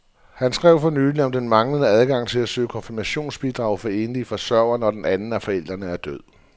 Han skrev for nylig om den manglende adgang til at søge konfirmationsbidrag for enlige forsørgere, når den anden af forældrene er død.